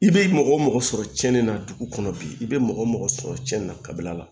I bɛ mɔgɔ mɔgɔ sɔrɔ cɛnni na dugu kɔnɔ bi i bɛ mɔgɔ mɔgɔ sɔrɔ cɛnni na kabila la